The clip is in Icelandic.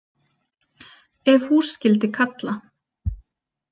Ef hús skyldi kalla.